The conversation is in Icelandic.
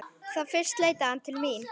Þá fyrst leitaði hann til mín.